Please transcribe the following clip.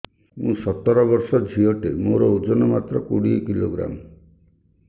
ମୁଁ ସତର ବର୍ଷ ଝିଅ ଟେ ମୋର ଓଜନ ମାତ୍ର କୋଡ଼ିଏ କିଲୋଗ୍ରାମ